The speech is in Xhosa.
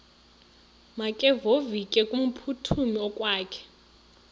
makevovike kumphuthumi okokwakhe